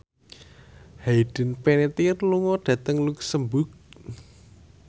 Hayden Panettiere lunga dhateng luxemburg